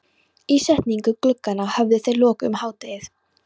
Ísetningu glugganna höfðu þeir lokið um hádegið.